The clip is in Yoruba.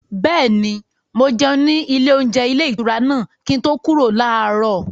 Bẹ́ẹ̀ni, mo jẹun ní ilé-oúnjẹ ilé-ìtura náà kí n tó kúrò láàárọ̀.